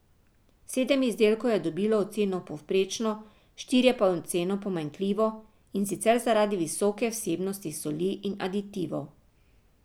Sedem izdelkov je dobilo oceno povprečno, štirje pa oceno pomanjkljivo, in sicer zaradi visoke vsebnosti soli in aditivov.